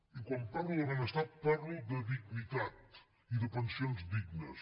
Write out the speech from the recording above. i quan parlo de benestar parlo de dignitat i de pensions dignes